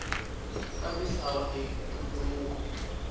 ka misava i ntumbuluko